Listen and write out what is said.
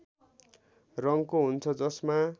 रङको हुन्छ जसमा